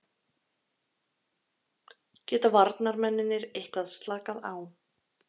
Geta varnarmennirnir eitthvað slakað á?